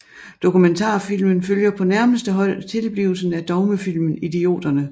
Dokumentarfilmen følger på nærmeste hold tilblivelsen af dogmefilmen Idioterne